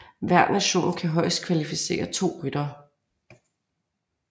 Hver nation kan højst kvalificere to ryttere